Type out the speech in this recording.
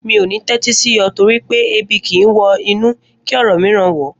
Mi ò ní tẹ́tí sí ọ nítorí pé Ebi kìí wọ inú kí ọ̀rọ̀ mìíràn wọ̀ ọ́